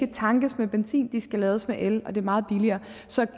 tankes med benzin de skal lades med el og det er meget billigere så